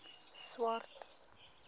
swart